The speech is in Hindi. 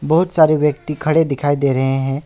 बहुत सारे व्यक्ति खड़े दिखाई दे रहे हैं।